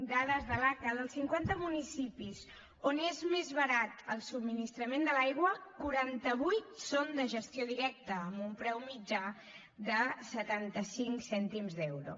dades de l’aca dels cinquanta municipis on és més barat el subministrament de l’aigua quaranta vuit són de gestió directa amb un preu mitjà de setanta cinc cèntims d’euro